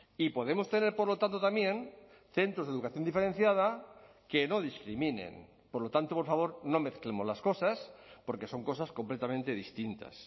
y podemos tener por lo tanto también centros de educación diferenciada que no discriminen por lo tanto por favor no mezclemos las cosas porque son cosas completamente distintas